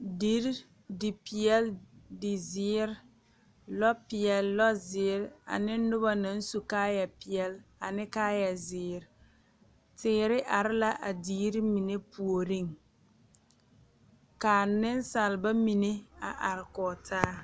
Deri dipeɛle dizeere lɔpeɛle lɔzeere ane noba naŋ su kaayɛpeɛle ane kaayɛzeere teere are la a deri mine puoriŋ ka nensalba mine a are kɔge taa.